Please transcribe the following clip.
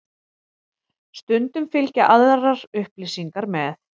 Stundum fylgja aðrar upplýsingar með.